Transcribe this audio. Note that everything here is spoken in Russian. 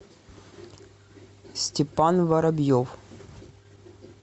степан воробьев